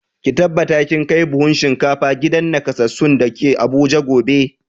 Ki tabbata kin kai buhun shinkafa gidan nakasassun da ke Abuja gobe!